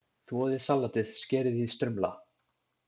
Þvoið salatið, skerið í strimla.